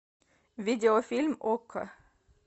видеофильм окко